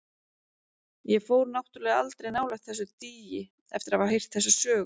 Ég fór náttúrlega aldrei nálægt þessu dýi eftir að hafa heyrt þessa sögu.